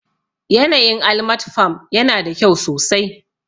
Yanayin Almat farm yana da kyau sosai